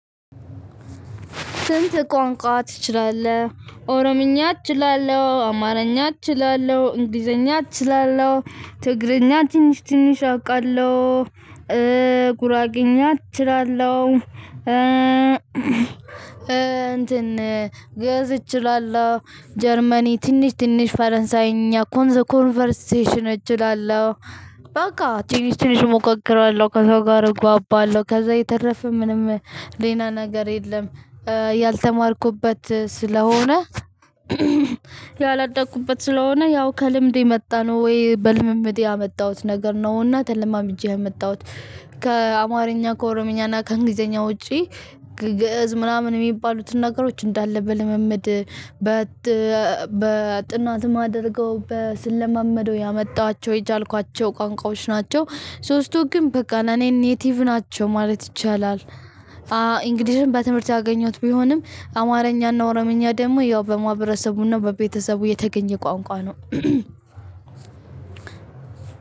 ስንት? ቋንቋ ትችላለህ ኦሮምኛ እችላለሁ አማርኛ እችላለሁ እንግሊዘኛ አችላለሁ ትግረኛ ትንሽ ትንሽ አውቃለሁ ጉራጌኛ እችላለሁ። እንትን ግእዝ እችላለሁ ጀርመኒ ትንሽ ትንሽ ፈረንሳይኛ ኮንሰ ኮንቨርሴሽን እችላለሁ። በቃ ትንሽ ትንሽ እሞካክራለሁ ከሰው ጋር እግባባለሁ ከዛ የተረፈ ምንም ሌላ ነገር የለም። ያልተማርኩበት ስለሆነ ያላደኩበት ስለሆነ ያው ከልምድ የመጣነው ወይ በልምምድ ያመጣሁት ነገር ነውና ተለማምጄ የመጣሁት። ከአማርኛ ከኦሮምኛ እና ከእንግሊዘኛ ውጪ ግእዝ ምናምን የሚባሉትን ነገሮች እንዳለ በልምምድ በጥናት የማደርገው ስለማመደው ያመጣኋቸው የቻልኳቸው ቋንቋዎች ናቸው። ሶስቱ ግን በቃ እኔን ኔቲቭ ናቸው ማለት ይቻላል። እንግዲህ በትምህርት አገኘሁት ቢሆንም አማርኛና ኦሮምኛ ደግሞ ያው በማህበረሰቡና በቤተሰቡ የተገኘ ቋንቋ ነው።